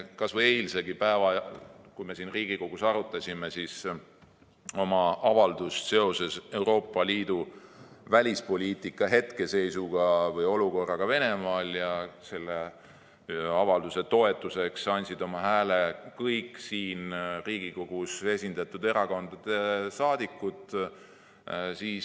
Kas või eilegi, kui me siin Riigikogus arutasime avaldust seoses Euroopa Liidu välispoliitika hetkeseisuga või olukorraga Venemaal, siis selle avalduse toetuseks andsid oma hääle kõigi Riigikogus esindatud erakondade liikmed.